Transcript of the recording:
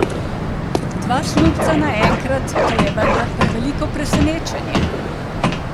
Dva snubca naenkrat, to je vendar preveliko presenečenje.